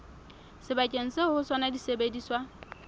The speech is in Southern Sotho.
sebakeng seo ho sona disebediswa